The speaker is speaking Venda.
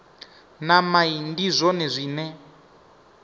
na mai ndi zwone zwine